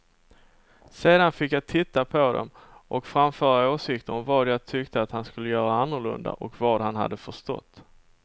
Sedan fick jag titta på dem och framföra åsikter om vad jag tyckte att han skulle göra annorlunda och vad han hade förstått.